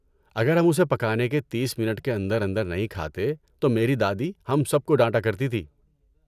اگر ہم اسے پکانے کے تیس منٹ کے اندر اندر نہیں کھاتے تو میری دادی ہم سب کو ڈانٹا کرتی تھی